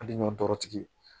Hali ɲɔ dɔrɔtigi